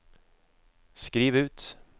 skriv ut